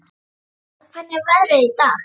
Valgarð, hvernig er veðrið í dag?